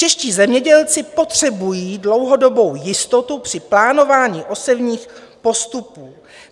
Čeští zemědělci potřebují dlouhodobou jistotu při plánování osevních postupů.